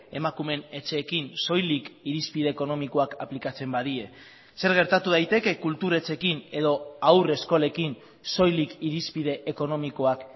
emakumeen etxeekin soilik irizpide ekonomikoak aplikatzen badie zer gertatu daiteke kultur etxeekin edo haurreskolekin soilik irizpide ekonomikoak